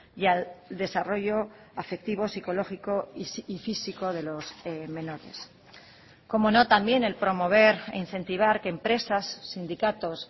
y al desarrollo afectivo psicológico y físico de los menores cómo no también el promover e incentivar que empresas sindicatos